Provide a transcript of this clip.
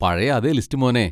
പഴയ അതേ ലിസ്റ്റ് മോനേ.